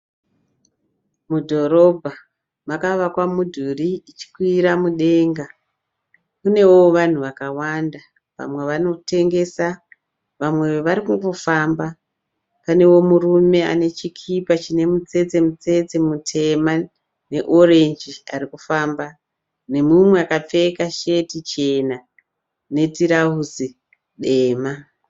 Mudhorobha makavakwa mudhuri ichikwira mudenga. Kunewo vanhu vakawanda. Vamwe vanotengesa, vamwe varikungofamba. Panewo murume ane chikipa chine mutsetse mutsetse mutema ne orenji arikufamba, nemumwe akapfeka sheti chena ne tirauzi dema.